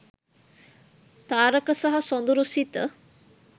තාරක සහ සොඳුරු සිත